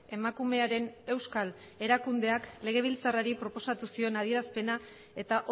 emakumearen euskal erakundeak legebiltzarrari proposatu zion adierazpena eta